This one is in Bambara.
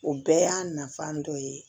O bɛɛ y'a nafa dɔ ye